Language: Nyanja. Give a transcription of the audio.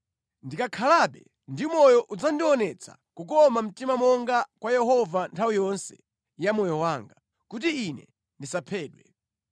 Ndikakhalabe ndi moyo udzandionetse kukoma mtima monga kwa Yehova nthawi yonse ya moyo wanga, kuti ine ndisaphedwe.